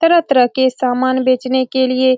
तरह-तरह के सामान बेचने के लिए--